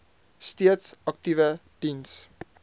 steeds aktiewe diens